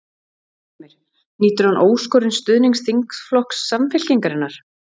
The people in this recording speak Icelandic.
Heimir: Nýtur hann óskorins stuðnings þingflokks Samfylkingarinnar?